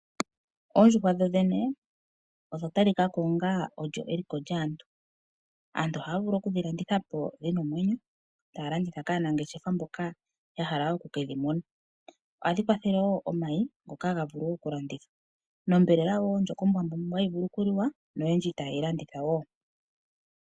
Ondjuhwa dhodhene odha talikako onga olyo eliko lyaantu. Aantu ohaa vulu oku dhilanditha po dhina omwenyo, taya landitha kaanangeshefa mboka yahala oku kedhi muna. Ohadhi kwathele wo omayi ngoka haga vulu wo okulandithwa. Nonyama wo ndjoka ombwanawa hayi vulu oku liwa noyendji ta ye yilanditha wo.